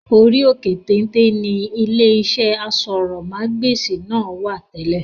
Orí òkè téńté ńi ilé iṣẹ́ aṣórómagbesìn náà wá tẹ́lẹ̀